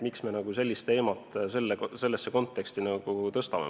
Miks me selle teemat üldse praegu sellesse konteksti tõstame?